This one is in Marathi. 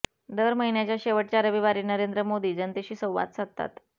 दर महिन्याच्या शेवटच्या रविवारी नरेंद्र मोदी जनतेशी संवाद साधतात